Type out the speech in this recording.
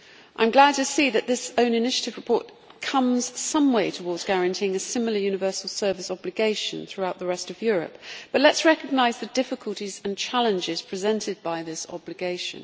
I am glad to see that this own initiative report comes some way towards guaranteeing a similar universal service obligation throughout the rest of Europe, but let us recognise the difficulties and challenges presented by this obligation.